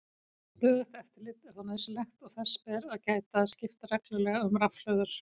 Stöðugt eftirlit er þó nauðsynlegt og þess ber að gæta að skipta reglulega um rafhlöður.